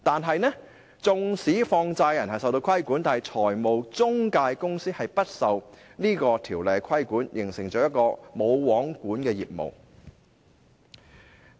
然而，縱使放債人受到規管，但中介公司卻不受《條例》規管，造成了一個"無皇管"的情況。